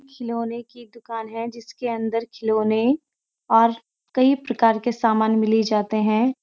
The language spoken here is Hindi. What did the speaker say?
खिलौने की दुकान है जिसके अंदर खिलौने और कई प्रकार के सामान मिल ई जाते हैं।